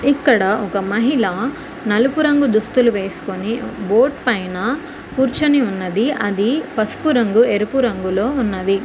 ఇక్కడ ఒక మహిళ నలుపు రంగు దుస్తులు వేసుకుని బోట్ పైన కూర్చొని ఉన్నది అది పసుపు రంగు ఎరుపు రంగులో ఉన్నవి.